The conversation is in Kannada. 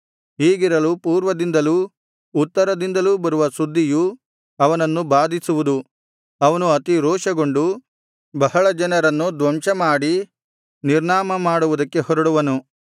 ಹೀಗಿರಲು ಪೂರ್ವದಿಂದಲೂ ಉತ್ತರದಿಂದಲೂ ಬರುವ ಸುದ್ದಿಯು ಅವನನ್ನು ಬಾಧಿಸುವುದು ಅವನು ಅತಿ ರೋಷಗೊಂಡು ಬಹಳ ಜನರನ್ನು ಧ್ವಂಸ ಮಾಡಿ ನಿರ್ನಾಮ ಮಾಡುವುದಕ್ಕೆ ಹೊರಡುವನು